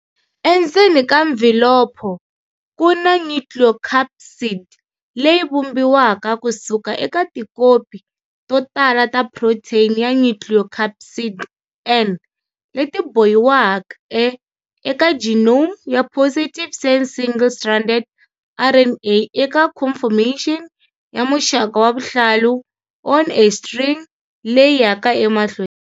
Endzeni ka mvhilopho, ku na nucleocapsid, leyi vumbiwaka kusuka eka tikopi to tala ta protein ya nucleocapsid, N, leti bohiweke eka genome ya positive-sense single-stranded RNA eka conformation ya muxaka wa vuhlalu-on-a-string leyi yaka emahlweni.